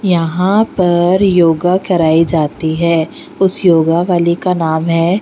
यहाँ पर योगा कराई जाती है उस योगावाली का नाम है --